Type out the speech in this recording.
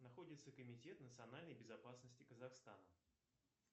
находится комитет национальной безопасности казахстана